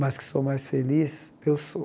Mas que sou mais feliz, eu sou.